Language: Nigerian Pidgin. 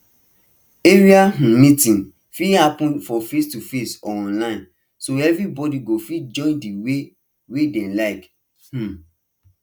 area um meeting fit happen for facetoface or online so everybody go fit join the way wey dem like um